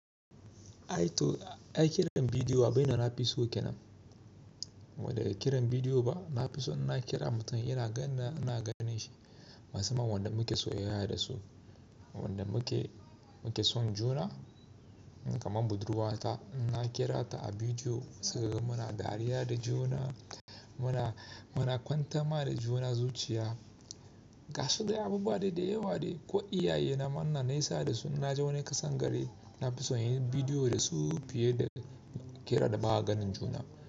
Ai to, ai kiran bidiyo ba ni na fi so wa ke nan. Wanda kiran bidiyo ba, na fi so na kira mutum yana, yana ganin shi. Masana'ar wanda muke soyayya da su, wanda muke, muke son juna, kamar budurwata na kira ta a bidiyo, siga muna bayyanar da juna, muna, muna kwantama da juna zuciya. Ga su dai abubuwa da yawa ne ko iyaye na mana na isa da su. Na je wani kasan gari, na fi so yin bidiyo da su fiye da kira da ba a ganin juna.